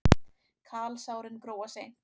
Kalsárin gróa seint.